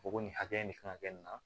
Ko ko nin hakɛ in ne kan ka kɛ nin na